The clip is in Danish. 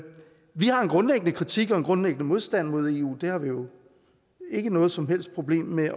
grundlæggende kritik af og grundlæggende modstand mod eu det har vi jo ikke noget som helst problem med